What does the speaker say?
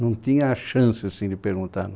Não tinha a chance, assim, de perguntar